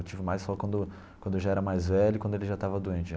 Eu tive mais só quando quando eu já era mais velho e quando ele já estava doente já.